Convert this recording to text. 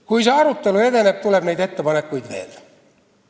Kui see arutelu edeneb, tuleb neid ettepanekuid veel.